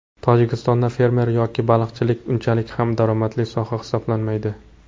Tojikistonda fermer yoki baliqchilik unchalik ham daromadli soha hisoblanmaydi.